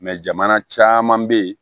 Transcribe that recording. jamana caman be ye